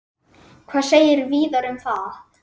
Hvað segir Viðar um það?